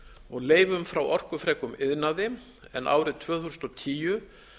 og leifum frá orkufrekum iðnaði en árið tvö þúsund og tíu